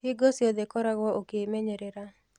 Hingo ciothe koragwo ukĩmenyerĩra.